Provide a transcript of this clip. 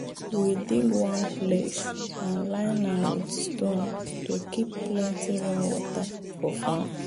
we dig one place and line am with stone to keep plenty rainwater for farm.